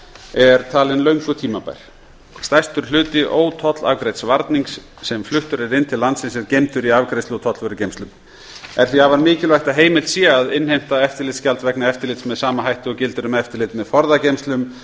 er talin löngu tímabær stærstur hluti ótollafgreidds varnings sem fluttur er inn til landsins er geymdur í afgreiðslu og tollvörugeymslum er því afar mikilvægt að heimilt sé að innheimta eftirlitsgjald vegna eftirlits með sama hætti og gildir um eftirlit með forðageymslum